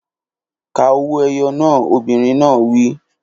Ka owó-ẹyọ náà! Obìnrin náà á wí.